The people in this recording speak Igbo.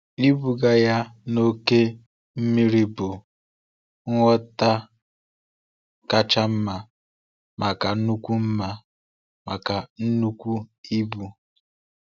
Ịbuga ya n’oké mmiri bụ ngwọta kacha mma maka nnukwu mma maka nnukwu ibu.